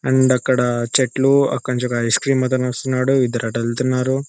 And అక్కడ చెట్లు. అక్కడి నుంచి ఒక ఐస్ క్రీమ్ అతను వస్తున్నాడు. ఇద్దరు అటు వెళ్తున్నారు.